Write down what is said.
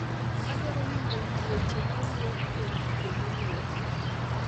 Adwaro winjo wi weche mawuok ewi ji moluor